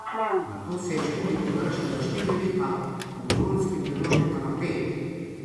Nato se je študij podaljšal na štiri leta, po bolonjski prenovi pa na pet.